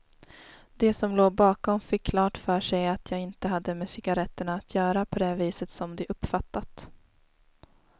De som låg bakom fick klart för sig att jag inte hade med cigaretterna att göra på det viset som de uppfattat.